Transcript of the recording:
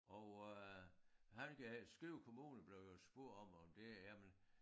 Og øh han ville gerne Skive kommune blev jo spurgt om om det jamen